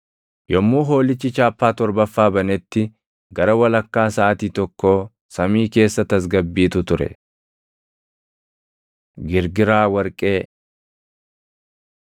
Yommuu Hoolichi chaappaa torbaffaa banetti gara walakkaa saʼaatii tokkoo samii keessa tasgabbiitu ture. Girgiraa Warqee